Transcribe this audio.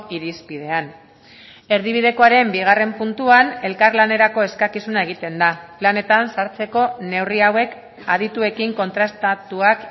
irizpidean erdibidekoaren bigarren puntuan elkarlanerako eskakizuna egiten da planetan sartzeko neurri hauek adituekin kontrastatuak